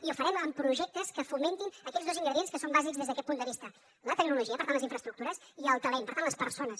i ho farem amb projectes que fomentin aquells dos ingredients que són bàsics des d’aquest punt de vista la tecnologia per tant les infraestructures i el talent per tant les persones